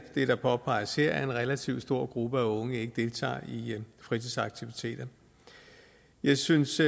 det der påpeges her nemlig at en relativt stor gruppe af unge ikke deltager i fritidsaktiviteter jeg synes